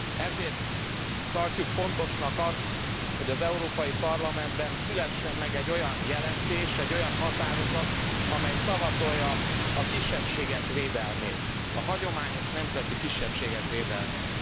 Ezért tartjuk fontosnak azt, hogy az Európai Parlamentben szülessen meg egy olyan jelentés, egy olyan határozat, amely szavatolja a kisebbségek védelmét, a hagyományos nemzeti kisebbségek védelmét.